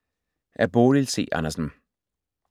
Af Bodil C. Andersen